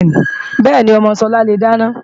Bẹ́ẹ̀ni, ọmọ Sọlá le dáná